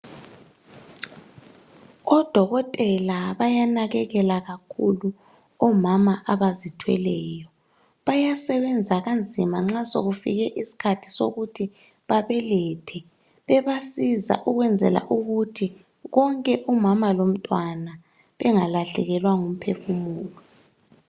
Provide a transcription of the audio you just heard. Odokotela bayanakekela kakhulu omama abazithweleyo. Bayasebenza kanzima nxa sokufika isikhathi sokuthi babelethe. bebasiza ukwenzela ukuthi khonke umama lomntwana bengalahlekelwa ngumphefumulo.